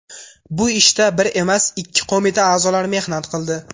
Bu ishda bir emas, ikki qo‘mita a’zolari mehnat qildi.